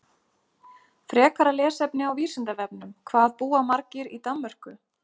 Frekara lesefni á Vísindavefnum: Hvað búa margir í Danmörku?